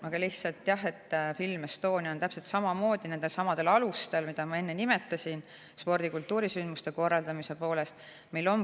Aga lihtsalt jah, Film Estonia täpselt samamoodi nendelsamadel alustel, mida ma enne nimetasin spordi‑ ja kultuurisündmuste korraldamise poolest.